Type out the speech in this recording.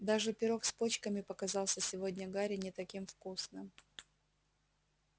даже пирог с почками показался сегодня гарри не таким вкусным